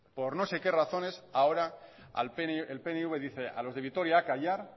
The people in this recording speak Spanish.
por no se qué razones ahora el pnv dice a los de vitoria a callar